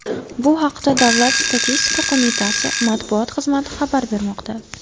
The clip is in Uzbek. Bu haqda Davlat statistika qo‘mitasi matbuot xizmati xabar bermoqda .